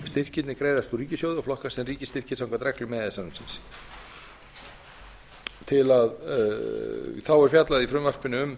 styrkirnir greiðast úr ríkissjóði og flokkast sem ríkisstyrkir samkvæmt reglum e e s samningsins þá er fjallað í frumvarpinu um